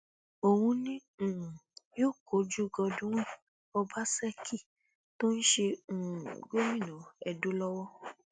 òun ni um yóò kojú godwin ọbaṣẹkí tó ń ṣe um gómìnà edo lọwọ